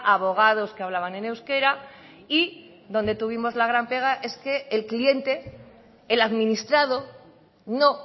abogados que hablaban en euskera y donde tuvimos la gran pega es que el cliente el administrado no